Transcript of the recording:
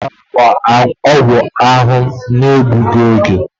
Ị ga-enye ya ọgwụ ahụ na-egbughi oge!